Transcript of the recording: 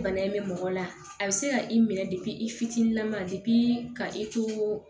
Bana in bɛ mɔgɔ la a bɛ se ka i minɛ i fitinin ma ka i to